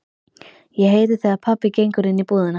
Ég heyri þegar pabbi gengur inní íbúðina.